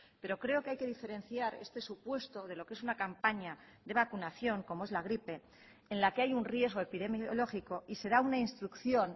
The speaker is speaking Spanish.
pero creo que hay que diferenciar este supuesto de lo que es una campaña de vacunación como es la gripe en la que hay un riesgo epidemiológico y se da una instrucción